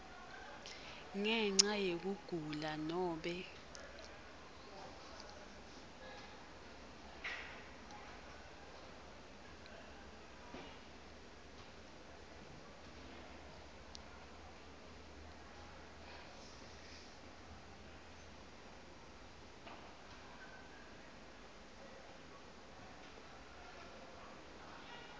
ngenca yekugula nobe